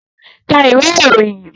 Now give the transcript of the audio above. Ka ìwé ìròyìn!